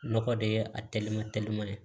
Nɔgɔ de ye a teliman telima ye